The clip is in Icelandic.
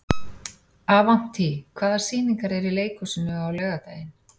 Avantí, hvaða sýningar eru í leikhúsinu á laugardaginn?